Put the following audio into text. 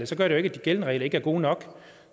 sådan at de gældende regler er gode nok